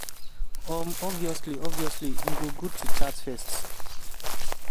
um obviously obviously e go good to chat first."